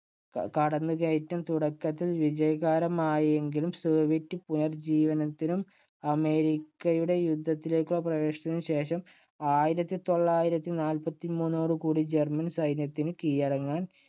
കടന്നുകയറ്റം തുടക്കത്തിൽ വിജയകരമായെങ്കിലും സോവിയറ്റ് പുനര്‍ ജ്ജീവനത്തിനും അമേരിക്കയുടെ യുദ്ധത്തിലേക്ക് പ്രവേശനത്തിനും ശേഷം ആയിരത്തി തൊള്ളായിരത്തിനാല്പത്തി മൂന്നോട് കൂടി ജർമ്മൻ സൈന്യത്തിനു കീയടങ്ങാന്‍